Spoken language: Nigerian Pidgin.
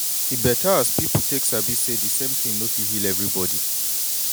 e beta as people take sabi say de same thin no fit heal everybody